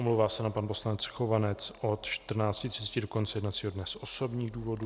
Omlouvá se nám pan poslanec Chovanec od 14.30 do konce jednacího dne z osobních důvodů.